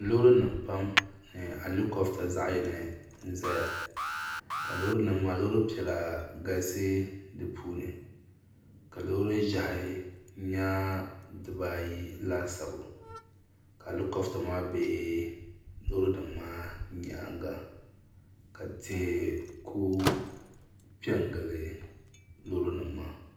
Loorinima pam ni alikɔbta zaɣ yini n zaya ka loorinima maa loori piɛla galisi di puuni ka loori ʒɛhi nyɛ dibayi laasabu ka alikɔbta maa be loorinima maa nyaanga ka tihi kuli pe n gili loorinima maa